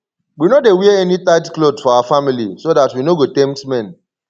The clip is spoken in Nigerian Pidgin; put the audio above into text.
we no dey wear any tight cloth for our family so dat we no go tempt men